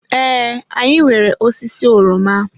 Ee, anyị nwere osisi oroma.